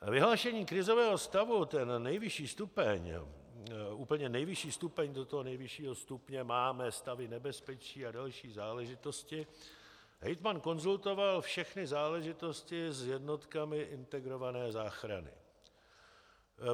Vyhlášení krizového stavu, ten nejvyšší stupeň, úplně nejvyšší stupeň - do toho nejvyššího stupně máme stavy nebezpečí a další záležitosti, hejtman konzultoval všechny záležitosti s jednotkami integrované záchrany.